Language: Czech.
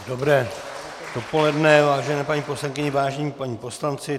Dobré dopoledne, vážené paní poslankyně, vážení páni poslanci.